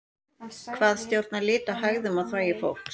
hvað stjórnar lit á hægðum og þvagi fólks